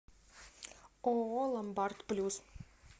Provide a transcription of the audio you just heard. ооо ломбард плюс